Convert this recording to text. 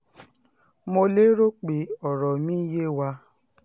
mo lérò pé ọ̀rọ̀ mi yé wa